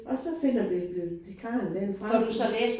Og så finder bibliotekaren den frem